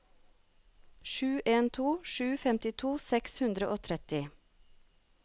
sju en to sju femtito seks hundre og tretti